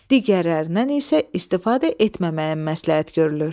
Digərlərindən isə istifadə etməməyə məsləhət görülür.